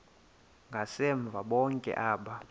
ngasemva bonke aba